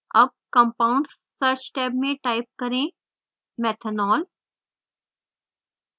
tab compounds search tab में type करें methanol